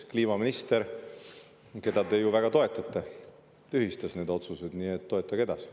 Kliimaminister, keda te ju väga toetate, tühistas need otsused, nii et toetage edasi.